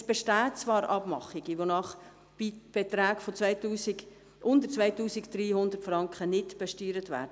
Es bestehen zwar Abmachungen, wonach Beträge unter 2300 Franken nicht besteuert werden.